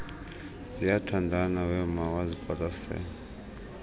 ziyathandana wema waziqwalasela